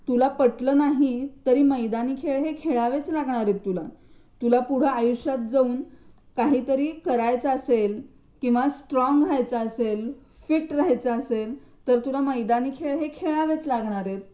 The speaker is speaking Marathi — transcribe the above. तुला पटलं नाही तरी मैदानी खेळ खेळावेच लागणार आहेत तुला पुढे आयुष्यात काहीतरी करायचं असेल किंवा स्ट्रॉंग व्हायचं असेल फीट राहायच तर तुला मैदानी खेळ खेळावेच लागणार आहेत.